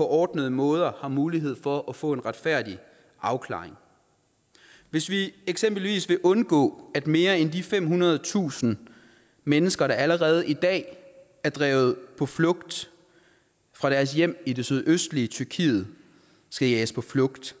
ordentlig måde har mulighed for at få en retfærdig afklaring hvis vi eksempelvis vil undgå at mere end de femhundredetusind mennesker der allerede i dag er drevet på flugt fra deres hjem i det sydøstlige tyrkiet skal jages på flugt